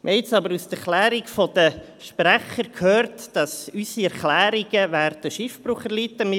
Wir haben nun aber den Erklärungen der Sprecher entnommen, dass unsere Erklärungen Schiffbruch erleiden werden.